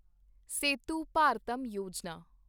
Setu Bharatam Yojana